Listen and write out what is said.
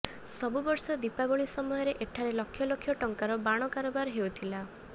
ସବୁ ବର୍ଷ ଦୀପାବଳି ସମୟରେ ଏଠାରେ ଲକ୍ଷଲକ୍ଷ ଟଙ୍କାର ବାଣ କାରବାର ହେଉଥିଲା